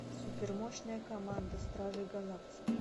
супермощная команда стражей галактики